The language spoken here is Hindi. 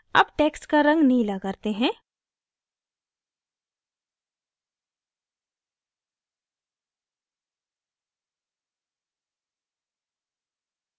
अब text का रंग नीला करते हैं